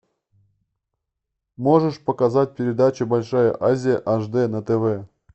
можешь показать передачу большая азия аш д на тв